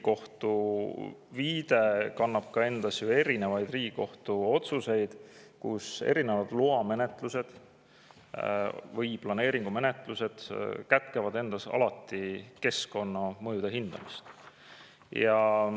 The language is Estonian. Tegelikult sellesama Riigikohtu otsuse järgi kätkevad loamenetlused või planeeringumenetlused alati keskkonnamõjude hindamist.